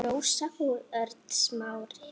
Rósa og Örn Smári.